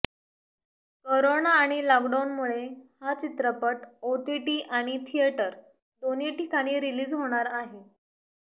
corona आणि लॉकडाऊनमुळे हा चित्रपट ओटीटी आणि थिएटर दोन्ही ठिकाणी रिलीज होणार आहे